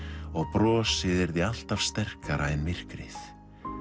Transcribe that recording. og brostið yrði alltaf sterkara en myrkrið